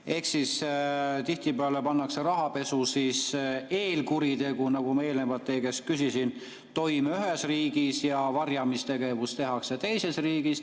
Ehk tihtipeale pannakse rahapesu eelkuritegu, mille kohta ma eelnevalt teie käest küsisin, toime ühes riigis ja varjamistegevus toimub teises riigis.